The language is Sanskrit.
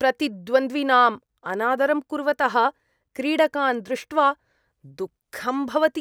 प्रतिद्वन्द्विनाम् अनादरं कुर्वतः क्रीडकान् दृष्ट्वा दुःखं भवति।